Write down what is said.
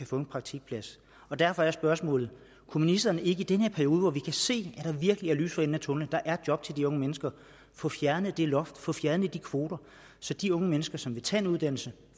få en praktikplads derfor er spørgsmålet kunne ministeren ikke i denne periode hvor vi kan se at der virkelig er lys for enden af tunnellen at der er job til de unge mennesker få fjernet det loft få fjernet de kvoter så de unge mennesker som vil tage en uddannelse